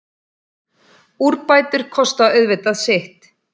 Úrbætur kosta auðvitað sitt.